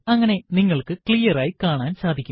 അങ്ങനെ നിങ്ങൾക്ക് ക്ലിയർ ആയി കാണാൻ സാധിക്കും